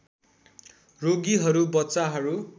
रोगीहरू बच्चाहरू